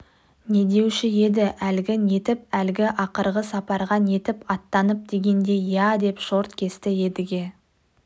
не деуші еді әлгі нетіп әлгі ақырғы сапарға нетіп аттанып дегендей иә деп шорт кесті едіге